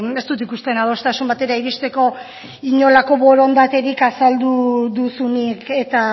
ez dut ikusten adostasun batera iristeko inolako borondaterik azaldu duzunik eta